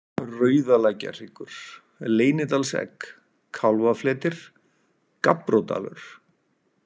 Rauðalækjarhryggur, Leynidalsegg, Kálfafletir, Gabbródalur